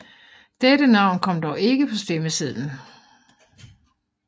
Dette navn kom dog ikke på stemmesedlen